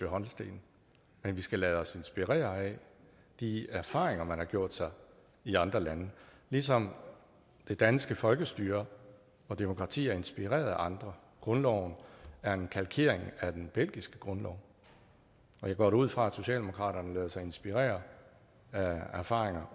holsten men vi skal lade os inspirere af de erfaringer man har gjort sig i andre lande ligesom det danske folkestyre og demokrati er inspireret af andre grundloven er en kalkering af den belgiske grundlov og jeg går da ud fra at socialdemokraterne også lader sig inspirere af erfaringer